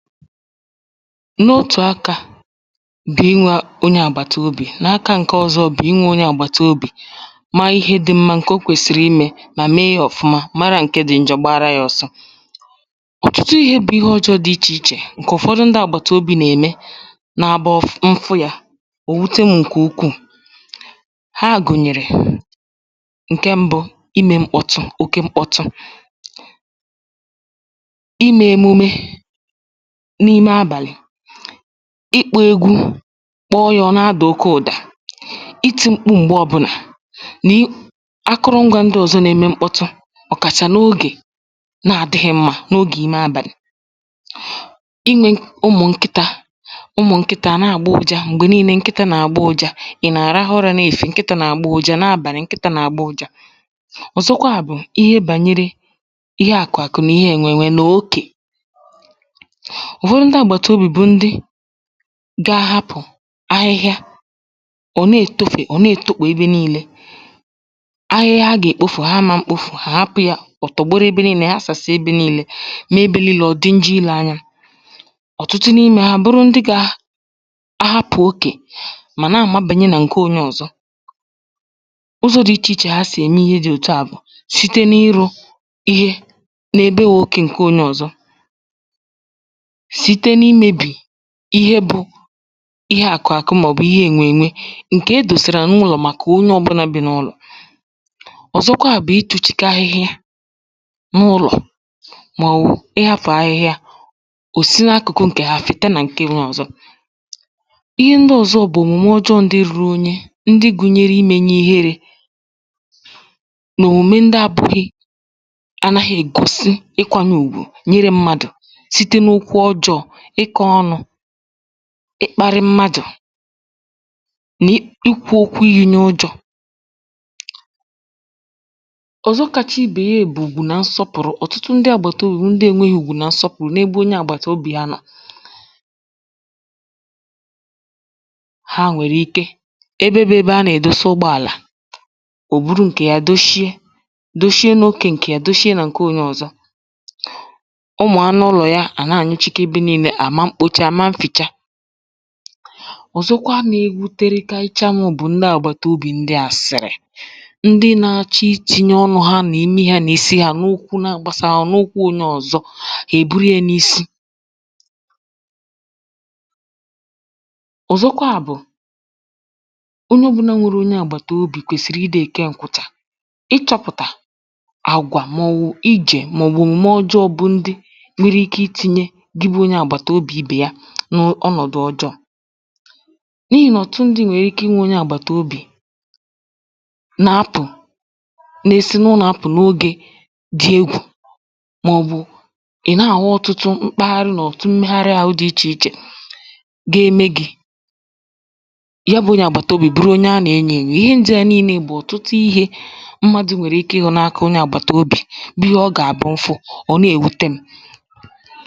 n’otù akā bụ̀ inwē onye àgbàtobì, n’aka ǹke ọ̄zọ̄ bụ̀ inwē onye àgbàtobì maa ihe dị̄ mmā ǹkè o kwèsìrì imē mà mee yā ọ̀fụma mara ǹke dị̄ njọ gbaara yā ọ̄sọ̄ ọ̀tụtụ ihē bụ ihe ọjọọ̄ dị ichè ichè kà ụ̀fọdụ ndị àgbàtobì n’ème na bụ m fụ yā ò wute m̄ ǹkè ukwuù ha gụ̀nyèrè ǹke m̄bụ̄, imē mkpọtụ oke mkpọtụ imē emume n’ime abànị̀, ịkpọ̄ ēgwū kpọọ yā ọ̀ na-adà oke ụ̀dà itī m̄kpū m̀gbe ọ̄bụ̄nà nii akụrụ̄n̄gwā ndị ọ̀zọ nā-ēmē mkpọtụ ọ̀kàchà n’ogè na-adị̄ghị̄ mmā n’ogè ime àbàlị̀ inwē ụmụ̀ nkịtā ụmụ̀ nkịtā à nà-àgbọ ụjā m̀gbè niīnē nkịtā nà-àgbọ ụ̄jā ị̀ nà-àrahụ ụrā n’efìfiè nkịta nà-àgbọ ụ̄jā n’abànị̀ nkịtā nà-àgbọ ụ̄jā ọ̀zọkwaà bụ̀ ihe gbànyere ihe àkụ̀ àkụ nà ihe ènwè ènwe nà okè ụ̀fọdụ ndị àgbàtobì bụ̀ ndị ga-ahapụ̀ ahịhịa ọ̀ na-ètofè ọ̀ na-ètokpò ebe niīlē ahịhịa ha gà-èkpofù hà ma m̄kpōfù hà hapụ̄ yà ọ̀ tọ̀gbọrụ ebe niīlē hasàsị ebe niīlē mee ebe niīlē ọ̀ dị njọ ilē ānyā ọ̀tụtụ n’imē hā bụrụ ndị gā ahapụ̀ okè mà na-àmabànye nà ǹke onye ọ̀zọ ụzọ̄ dị ichè ichè ha sì ème ihe dị̄ òtu à bụ̀ site na-ịrụ̄ ihe na-ebe okè ǹke ōnyē ọ̀zọ site na-imēbi ihe bụ̄ ihe àkụ̀ àkụ màọ̀bụ̀ ihe ènwè ènwe ǹkè edòsàrà n’ụlọ̀ màkà onye ọ̄bụ̄là bi n’ụlọ̀ ọ̀zọkwa bụ̀ itūchīgā ihe n’ụlọ̀ màọ̀wụ̀ ịhāfụ̀ ahịhịa ò si na-akụ̀kụ ǹkè ha fete nà ǹke ōnyē ọzọ̀ ihe ndị ọ̀zọ bụ̀ òmùme ọjọọ̄ ndị rūrū īnyī ndị gụ̄nyērē imēnyē iherē nà òmùme ndị ā pūghī anāghị̄ ègosi ikwānyē ùgwù n’ire m̄mādụ̀ site n’okwu ọjọọ̄ ịkọ̄ ọnụ̄ ịkpārị̄ mmadụ̀ na-i ikwū okwu iyī n’ụjọ̄ ọ̀zọ kāchā ibè ya bụ̀ ùgwù nà nsọpụ̀rụ ọ̀tụtụ ndị àgbàtobì ndị ēnwēghị̄ ùgwù nà nsọpụ̀rụ ebe onye àgbàtobì ha nọọ̀ ha nwèrè ike ebe bụ̄ ebe a nà-èdosa ụgbọ àlà ò buru ǹkè ya doshie doshie n’okē ǹkè ya doshie nà ǹke ōnyē ọ̀zọ ụmụ̀ anụ ụlọ̀ ya à nà-anyụchiga ebe niīlē hà ma mkpoche hà ma nfìcha ọ̀zọkwa na-ewuterikarịcha m̄ bụ̀ ndị àgbàtobì ndị àsị̀rị̀ ndị nā-āchọ̄ itīnyē ọnụ̄ hā mà ime hā nā isi hā n’okwu na-agbāsāghā hà n’okwu ōnyē ọ̀zọ hà èburu yā n’isi ọ̀zọkwaà bụ̀ onye ọ̄bụ̄nà nwere onye àgbàtobì kwèsìrì ịdị̄ èke ǹkụ̀chà ịchọ̄pụ̀tà àgwà màọ̀wụ̀ ijè màọ̀wụ̀ òmùme ọjọọ̄ bụ ndị nwere ikē itīnyē gị bụ̄ onye àgbàtobì ibè ya na-ọ ọnọ̀dụ̀ ọjọọ̄ n’ihì nà ọ̀tụtụ ndị̄ nwèrè ike inwē onye àgbàtobì na-apụ̀ na-esi n’unọ̀ apụ̀ n’ogē dị egwù màọ̀bụ̀ ị̀ nà-àhụ ọ̀tụtụ mkpaharị nà ọ̀tụtụ mmegharị āhụ̄ dị ichè ichè ga-eme gị̄ ya bụ̄ onye àgbàtobì bụrụ onye a nà-enyō ènyò ihe ndị à niīnē bụ̀ ọ̀tụtụ ihē mmadụ̄ nwèrè ike ịhụ̄ na-aka onye àgbàtobì bụ ihe ọ gà-àbụ m fụ ọ̀ nà-ewute m̄.